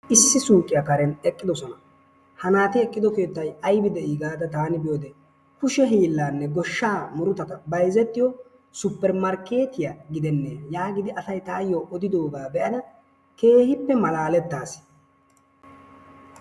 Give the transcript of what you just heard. Issi suuqiya karen eqqidosona, ha naati eqqido keettay aybi de'i gaada taani biyode kushe hiillaanne goshshaa murutata bayzettiyo super markkeettiya gidenne yaagidi asay taayyo oddidogaa be'ada keehippe malaalettaas.